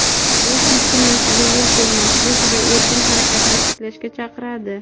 u keskinlashuvga yo‘l qo‘ymaslik va erkin harakatni tiklashga chaqiradi.